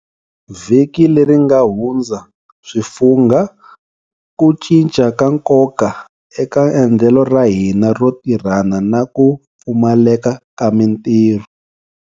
Vhiki leri nga hu ndza swi fungha ku cinca ka nkoka eka endlelo ra hina ro tirhana na ku pfumaleka ka mitirho.